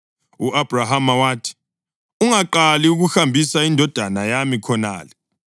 U-Abhrahama wathi, “Ungaqali ukuhambisa indodana yami khonale.